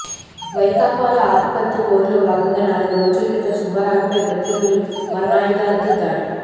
వైకాపాలో ఆధిపత్య పోరులో భాగంగా నాలుగు రోజుల క్రితం సుబ్బారావుపై ప్రత్యర్థులు మారణాయుదాలతో దాడి